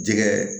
Jɛgɛ